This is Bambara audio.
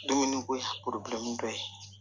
Dumuni ko dɔ ye